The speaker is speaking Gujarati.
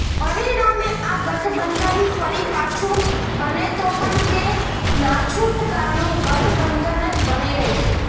પરિણામે આ ગઠબંધન ફરી પાછું બને તો પણ તે નાછૂટકાનું ગઠબંધન જ બની રહેશે